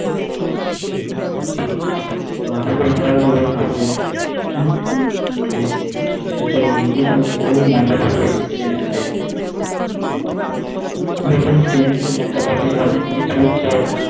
বাবুর ও ভালো লাগবে খাবে হু ও মজা পাবে যে Trainte Trainte ত মজা পাবে যে অনেক জিনিস উঠছে।